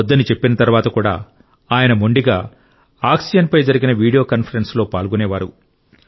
వద్దని చెప్పిన తర్వాత కూడా ఆయన మొండిగా ఆక్సిజన్పై జరిగిన వీడియో కాన్ఫరెన్స్లో పాల్గొనేవారు